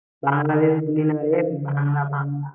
বাংলাদেশ বুলিনাই রে ভালা ভাংলা